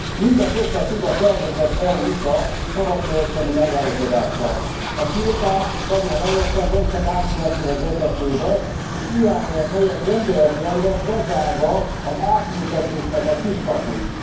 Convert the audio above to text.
Mindez összefügg a tervezett EU USA szabadkereskedelmi megállapodással. A tiltást nagyon helyesen nem csak átmenetileg vezetné be, és irányelv helyett rendelet lenne, bezárva az átültetés kiskapuit.